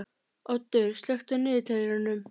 Oddur, slökktu á niðurteljaranum.